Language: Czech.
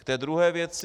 K té druhé věci.